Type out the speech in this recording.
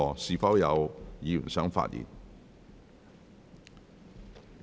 是否有議員想發言？